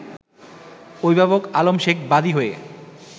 অভিভাবক আলম শেখ বাদী হয়ে